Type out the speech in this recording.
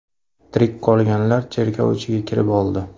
Tirik qolganlar cherkov ichiga kirib oldi.